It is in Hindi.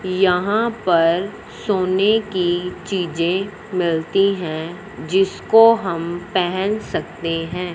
यहां पर सोने की चीजें मिलती हैं जिसको हम पेहेन सकते हैं।